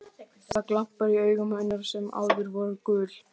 Það eru glampar í augum hennar sem áður voru gul.